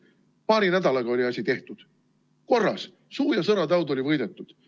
Paari nädalaga oli asi tehtud, korras, suu- ja sõrataud oli võidetud.